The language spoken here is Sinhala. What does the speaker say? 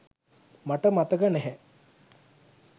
මට මතක නෑ